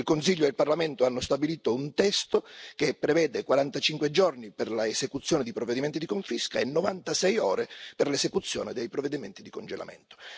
Il Consiglio e il Parlamento hanno stabilito un testo che prevede 45 giorni per l'esecuzione di provvedimenti di confisca e 96 ore per l'esecuzione dei provvedimenti di congelamento.